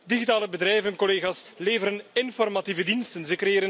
Digitale bedrijven, collega's, leveren informatieve diensten.